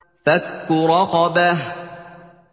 فَكُّ رَقَبَةٍ